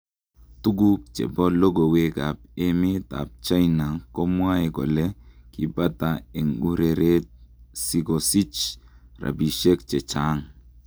Tuguk chepo logowek ap emet apchina komwae kole kipata en ureret si kosich rapishek che chaaang